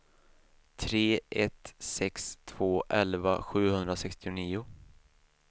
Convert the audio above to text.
tre ett sex två elva sjuhundrasextionio